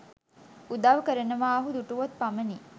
උදව් කරනවා ඔහු දුටුවොත් පමණි